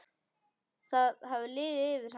Það hafði liðið yfir hana!